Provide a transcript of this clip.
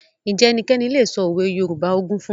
Ǹjẹ́ ẹnikẹ́ni lè sọ òwe Yorùbá ogún fún mi?